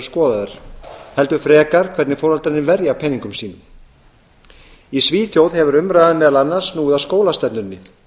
skoðaðar heldur frekar hvernig foreldrarnir verja peningum sínum í svíþjóð hefur umræðan meðal annars snúið að skólastefnunni